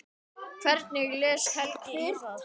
Hvernig les Helgi í það?